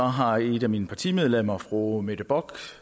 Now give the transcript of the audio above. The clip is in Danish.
har et af mine partimedlemmer fru mette bock